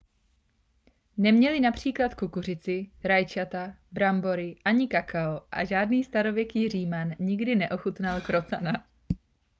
neměli například kukuřici rajčata brambory ani kakao a žádný starověký říman nikdy neochutnal krocana